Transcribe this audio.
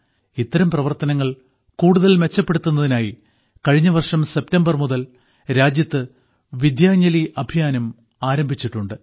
ഇത്തരം പ്രവർത്തനങ്ങൾ കൂടുതൽ മെച്ചപ്പെടുത്തുന്നതിനായി കഴിഞ്ഞ വർഷം സെപ്റ്റംബർ മുതൽ രാജ്യത്ത് വിദ്യാഞ്ജലി അഭിയാനും ആരംഭിച്ചിട്ടുണ്ട്